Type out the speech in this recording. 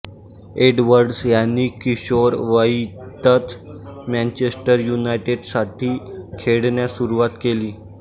Edwards यांनी किशोरवयीतच Manchester युनायटेडसाठी खेळण्यास सुरुवात केली